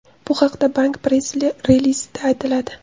Bu haqda bank press-relizida aytiladi .